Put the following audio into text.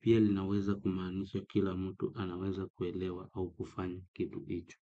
Pia linaweza kumaanisha kila mtu anaweza kuelewa au kufanya kitu hicho.